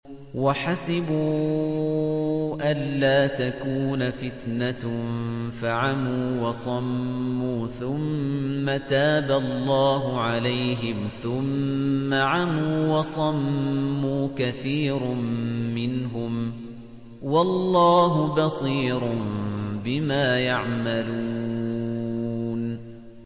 وَحَسِبُوا أَلَّا تَكُونَ فِتْنَةٌ فَعَمُوا وَصَمُّوا ثُمَّ تَابَ اللَّهُ عَلَيْهِمْ ثُمَّ عَمُوا وَصَمُّوا كَثِيرٌ مِّنْهُمْ ۚ وَاللَّهُ بَصِيرٌ بِمَا يَعْمَلُونَ